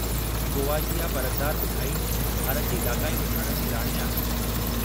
गोवा जी इहा परतदार मिठाई भारत जी इलाक़ाई मिठाणनि जी राणी आहे।